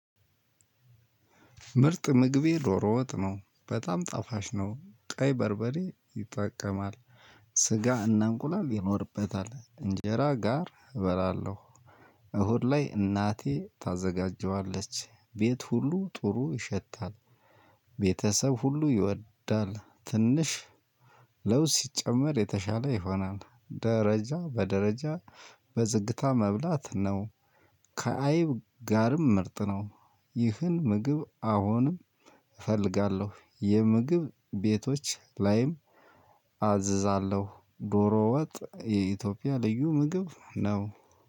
ምርጥ ምግቤ ዶሮ ወጥ ነው በጣም ጣፋጭ ነው ቀይ በርበሬ ይጠቀማል። ስጋ እናንቁላል ይኖርበታል እንጀራ ጋር እበራለሁ። እሁድ ላይ እናቴ ታዘጋጀዋለች ቤት ሁሉ ጥሩ ይሸታል። ቤተሰብ ሁሉ ይወዳል። ትንሽ ለውስ ሲጨመር የተሻለ ይሆናል ደረጃ በደረጃ በዝግታ መብላት ነው። ከአይብ ጋርም ምርጥ ነው። ይህን ምግብ አሁንም እፈልጋለሁ የምግብ ቤቶች ላይም አዝዛለሁ። ዶሮ ወጥ የኢትዮጵያ ልዩ ምግብ ነው።